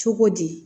Cogo di